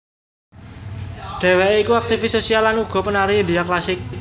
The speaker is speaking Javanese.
Dheweké iku aktifis sosial lan uga penari India klasik